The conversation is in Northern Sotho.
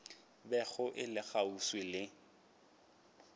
bego e le kgauswi le